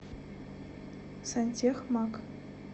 сантехмаг